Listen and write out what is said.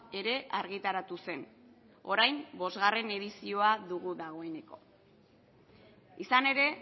ere argitaratu zen orain bosgarren edizioa dugu dagoeneko izan ere